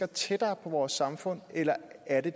tættere på vores samfund eller er det